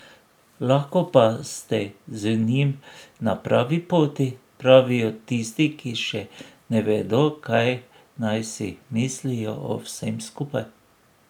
Lahko pa ste z njim na pravi poti, pravijo tisti, ki še ne vedo, kaj naj si mislijo o vsem skupaj.